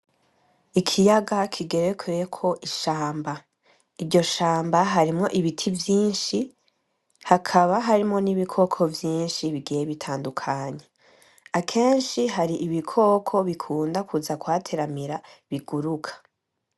Ikiyaga kigerekeko ishamba, iryoshamba harimo ibiti vyinshi hakaba harimo n’ibikoko vyinshi bigiye bitandukanye akenshi hari ibikoko bikunda kuza kuhateramira biguruka.